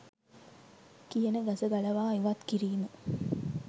කියන ගස ගලවා ඉවත් කිරීම